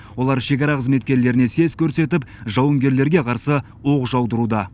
олар шекара қызметкерлеріне сес көрсетіп жауынгерлерге қарсы оқ жаудыруда